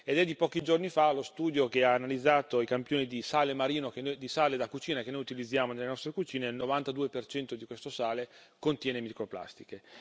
È di pochi giorni fa lo studio che ha analizzato i campioni di sale marino, di sale da cucina che noi utilizziamo nelle nostre cucine il 92 di questo sale contiene microplastiche.